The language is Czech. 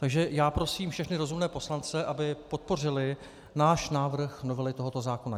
Takže já prosím všechny rozumné poslance, aby podpořili náš návrh novely tohoto zákona.